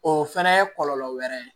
O fɛnɛ ye kɔlɔlɔ wɛrɛ ye